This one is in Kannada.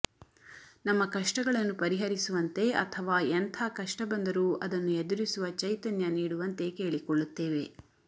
ನಮ್ಮ ಕಷ್ಟಗಳನ್ನು ಪರಿಹರಿಸುವಂತೆ ಅಥವಾ ಎಂಥ ಕಷ್ಟ ಬಂದರೂ ಅದನ್ನು ಎದುರಿಸುವ ಚೈತನ್ಯ ನೀಡುವಂತೆ ಕೇಳಿಕೊಳ್ಳುತ್ತೇವೆ